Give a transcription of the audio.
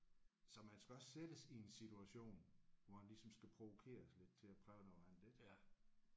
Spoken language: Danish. Så man skal også sættes i en situation hvor man ligesom skal provokeres lidt til at prøve noget andet ik